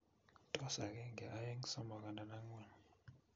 Tos akeenge aeng somok andan angwan